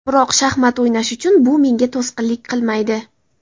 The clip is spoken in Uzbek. Biroq shaxmat o‘ynash uchun bu menga to‘sqinlik qilmaydi.